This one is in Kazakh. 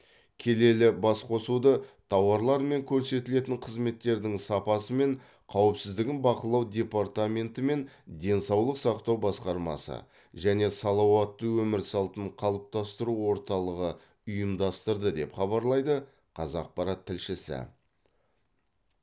келелі бас қосуды тауарлар мен көрсетілетін қызметтердің сапасы мен қауіпсіздігін бақылау департаментенті мен денсаулық сақтау басқармасы және салауатты өмір салтын қалыптастыру орталығы ұйымдастырды деп хабарлайды қазақпарат тілшісі